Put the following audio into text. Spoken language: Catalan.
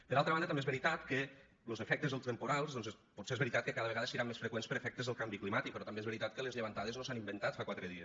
per altra banda també és veritat que los efectes dels temporals potser és veritat que cada vegada seran més freqüents per efectes del canvi climàtic però també és veritat que les llevantades no s’han inventat fa quatre dies